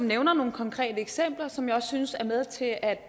nævner nogle konkrete eksempler som jeg også synes er med til at